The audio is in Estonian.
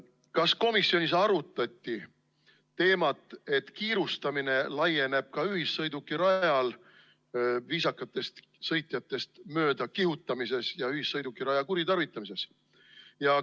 Kas komisjonis arutati teemat, et kiirustamine laieneb ka ühissõidukirajal viisakatest sõitjatest möödakihutamisele ja ühissõidukiraja kuritarvitamisele?